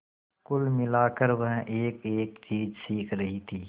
कुल मिलाकर वह एकएक चीज सीख रही थी